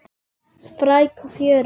Spræk og fjörug, já.